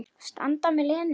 Standa með Lenu.